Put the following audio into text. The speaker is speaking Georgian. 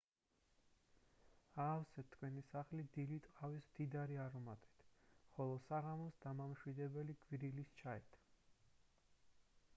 აავსეთ თქვენი სახლი დილით ყავის მდიდარი არომატით ხოლო საღამოს დამამშვიდებელი გვირილის ჩაით